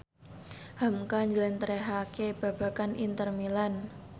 hamka njlentrehake babagan Inter Milan